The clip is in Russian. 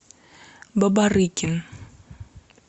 бабарыкин